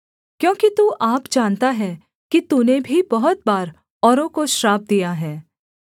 क्योंकि तू आप जानता है कि तूने भी बहुत बार औरों को श्राप दिया है